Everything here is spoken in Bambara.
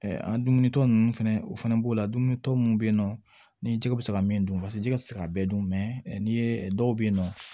an dumunitɔ ninnu fɛnɛ o fɛnɛ b'o la dumuni tɔ mun be yen nɔ ni jiko be se ka min dun paseke jigi ti se ka bɛɛ dun n'i ye dɔw be yen nɔ